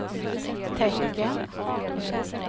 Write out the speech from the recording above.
tecken